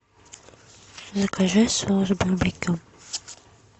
закажи соус барбекю